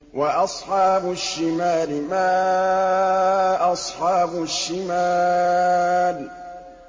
وَأَصْحَابُ الشِّمَالِ مَا أَصْحَابُ الشِّمَالِ